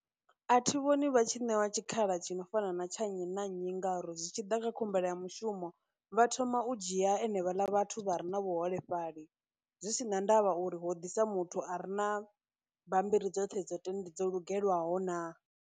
A thi vhoni vha tshi ṋewa tshikhala tshi no fana na tsha nnyi na nnyi ngauri zwi tshi ḓa kha khumbelo ya mushumo vha thoma u dzhia enevhaḽa vhathu vha re na vhuholefhali zwi si na ndavha uri ho ḓisa muthu a re na bammbiri dzoṱhe dzote, dzo lugelwaho na.